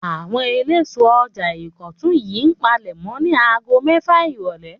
Àwọn eléso ọjà Ìkọ̀tún yìí palẹ̀mọ́ ní ago mẹ́fà ìrọ́lẹ́.